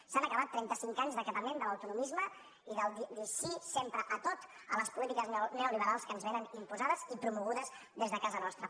s’han acabat trenta cinc anys d’acatament de l’autonomisme i del dir sí sempre a tot a les polítiques neoliberals que ens vénen imposades i promogudes des de casa nostra